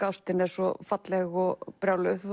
ástin er svo falleg og brjáluð